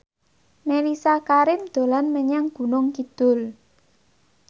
Mellisa Karim dolan menyang Gunung Kidul